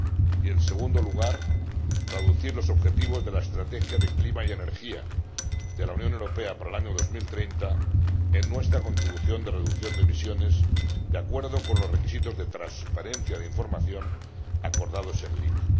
y, en segundo lugar, traducir los objetivos de la estrategia de clima y energía de la Unión Europea para el año 2030 en nuestra contribución de reducción de emisiones, de acuerdo con los requisitos de transparencia de información acordados en Lima.